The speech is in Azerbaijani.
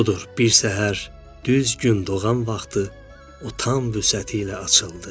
Budur, bir səhər düz gün doğan vaxtı o tam vüsəti ilə açıldı.